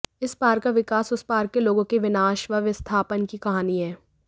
इस पार का विकास उस पार के लोगों के विनाष व विस्थापन की कहानी है